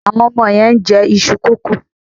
Àwọn ọmọ yẹn ń jẹ iṣu kókò.